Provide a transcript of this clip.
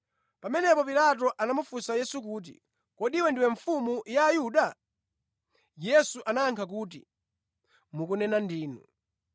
Pamenepo Pilato anamufunsa Yesu kuti, “Kodi Iwe ndiwe Mfumu ya Ayuda?” Yesu anayankha kuti, “Mwatero ndinu.”